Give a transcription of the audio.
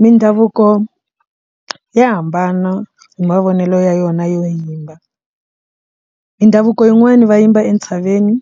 Mindhavuko ya hambana hi mavonelo ya yona yo yimba mindhavuko yin'wani va yimba entshaveni